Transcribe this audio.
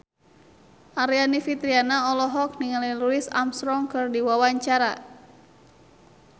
Aryani Fitriana olohok ningali Louis Armstrong keur diwawancara